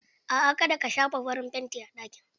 Aa ka da ka shafa farin fanti a ɗakin.